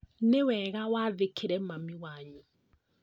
Nĩ wega wathĩkĩre mami wanyu